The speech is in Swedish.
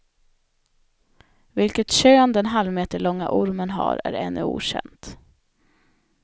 Vilket kön den halvmeterlånga ormen har är ännu okänt.